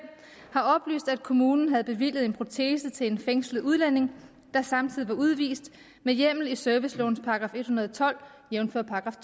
har oplyst at kommunen havde bevilget en protese til en fængslet udlænding der samtidig var udvist med hjemmel i servicelovens § en hundrede og tolv jævnfør §